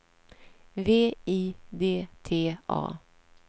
V I D T A